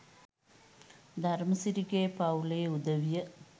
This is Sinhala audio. ධර්මසිරිගේ පවු‍ලේ උදවිය